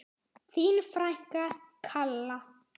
Þín frænka, Kalla.